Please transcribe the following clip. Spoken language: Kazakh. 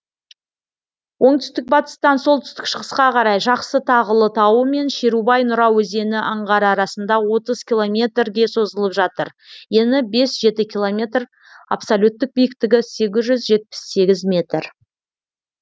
оңтүстік батыстан солтүстік шығысқа қарай жақсы тағылы тауы мен шерубай нұра өзені аңғары арасында отыз километр ге созылып жатыр ені бес жеті километр абсолюттік биіктігі сегіз жүз жетпіс сегіз метр